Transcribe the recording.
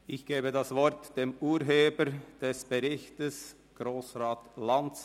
Ich gebe das Wort dem Urheber des Berichts, Grossrat Lanz.